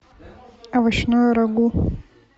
овощное рагу